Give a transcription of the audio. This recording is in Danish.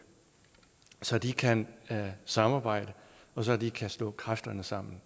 så de kan samarbejde og så de kan slå kræfterne sammen